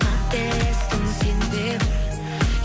қателестің сен де бір